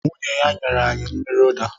Nwunye ya nyere anyị mmiri ụda